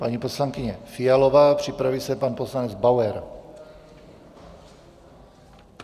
Paní poslankyně Fialová, připraví se pan poslanec Bauer.